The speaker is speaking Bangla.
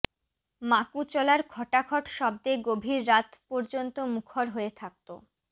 মাকু চলার খটাখট শব্দে গভীর রাত পর্যন্ত মুখর হয়ে থাকত